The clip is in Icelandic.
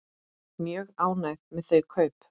Mjög ánægð með þau kaup.